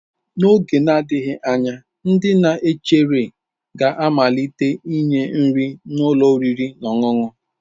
N'oge na-adịghị anya ndị na-echere ga-amalite inye nri na ụlọ oriri na ọṅụṅụ.